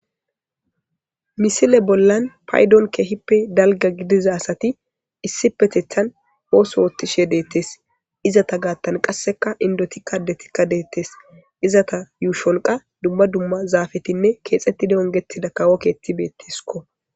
misile bollan paydon keehippe dalga gidiza asati issi petethan hoos hoottishe deettes izata gaattan qasseka indotikka detikka deettes izata yuushonqa dumma dumma zaafetinne keexettidi ongettida kawo keetti beettesko